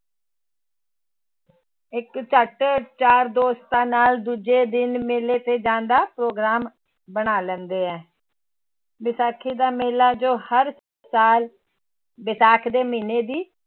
ਇੱਕ ਝੱਟ ਚਾਰ ਦੋਸਤਾਂ ਨਾਲ ਦੂਜੇ ਦਿਨ ਮੇਲੇ ਤੇ ਜਾਣ ਦਾ ਪ੍ਰੋਗਰਾਮ ਬਣਾ ਲੈਂਦੇ ਹੈ ਵਿਸਾਖੀ ਦਾ ਮੇਲਾ ਜੋ ਹਰ ਸਾਲ ਵਿਸਾਖ ਦੇ ਮਹੀਨੇ ਦੀ